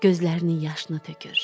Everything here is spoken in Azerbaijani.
Gözlərinin yaşını tökür.